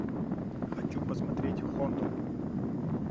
хочу посмотреть хондо